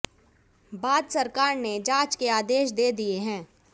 बाद सरकार ने जांच के आदेश दे दिए हैं